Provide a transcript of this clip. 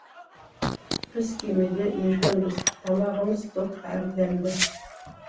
біз кемеде еркінбіз тамағымыз тоқ әрі дәмді